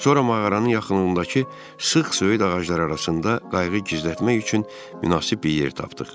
Sonra mağaranın yaxınlığındakı sıx söyüd ağacları arasında qayıq gizlətmək üçün münasib bir yer tapdıq.